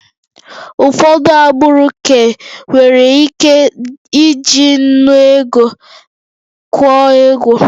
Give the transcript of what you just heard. Ụfọdụ agbụrụ ka nwere ike iji nnu ego kwụọ ego